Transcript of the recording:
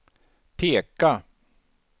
peka